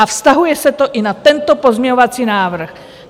A vztahuje se to i na tento pozměňovací návrh.